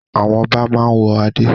Àwọn ọba máa ń wọ adé.